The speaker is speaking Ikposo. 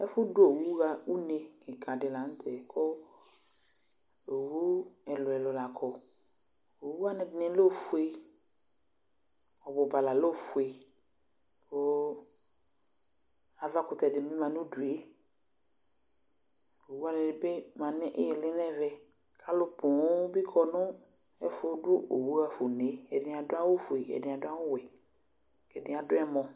Ɛfʋ dʋ owu ɣa une kadɩ la nʋtɛ , kʋ owu ɛlʋɛlʋ la kɔ: owuwanɩ ɛdɩnɩ lɛ ofue , ɔbʋba la lɛ ofue , kʋ avakʋtɛdɩ bɩ ma n'udue ; owuwanɩ ma n'ɩɩlɩ n'ɛvɛ Alʋ poo bɩ kɔ nʋ ɛfʋ dʋ owu ɣafa unee: ɛdɩnɩ adʋ awʋfue ɛdɩnɩ adʋ awʋwɛ, ɛdɩnɩ adʋ ɛlɔ